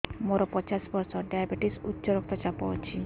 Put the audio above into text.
ମୋର ପଚାଶ ବର୍ଷ ଡାଏବେଟିସ ଉଚ୍ଚ ରକ୍ତ ଚାପ ଅଛି